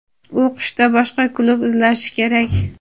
u qishda boshqa klub izlashi kerak.